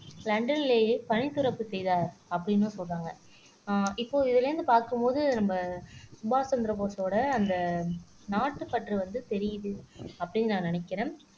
லண்டனிலேயே பணி துறப்பு செய்தார் அப்படின்னும் சொல்றாங்க அஹ் இப்போ இதுல இருந்து பார்க்கும் போது நம்ம சுபாஷ் சந்திர போஸோட அந்த நாட்டுப்பற்று வந்து தெரியுது அப்படின்னு நான் நினைக்கிறேன்